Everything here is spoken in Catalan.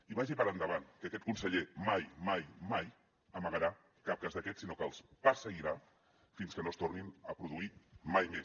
i vagi per endavant que aquest conseller mai mai mai amagarà cap cas d’aquests sinó que els perseguirà fins que no es tornin a produir mai més